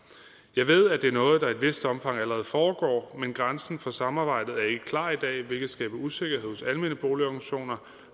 jeg ved at det er noget der i et vist omfang allerede foregår men grænsen for samarbejdet er ikke klar i dag hvilket skaber usikkerhed hos almene boligorganisationer